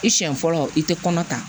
I siɲɛ fɔlɔ i tɛ kɔnɔ ta